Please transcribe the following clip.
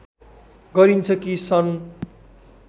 गरिन्छ कि सन्